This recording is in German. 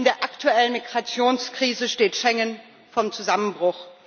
In der aktuellen Migrationskrise steht Schengen vor dem Zusammenbruch.